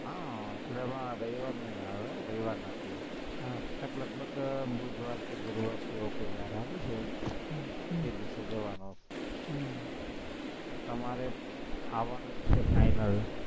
હમ એટલે રવિવાર નઈ આવે, રવિવાર નથી, લગભગ બુધવાર કે ગુરુવાર એવો કોઈ વાર આવે છે, એ દિવસે જવાનું તમારે આવવાનું છે એ final